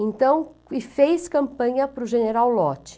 Então, e fez campanha para o General Lott.